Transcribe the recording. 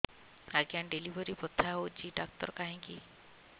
ଆଜ୍ଞା ଡେଲିଭରି ବଥା ହଉଚି ଡାକ୍ତର କାହିଁ କି